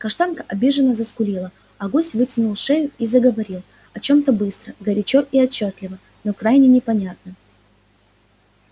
каштанка обиженно заскулила а гусь вытянул шею и заговорил о чем-то быстро горячо и отчётливо но крайне непонятно